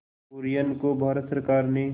कुरियन को भारत सरकार ने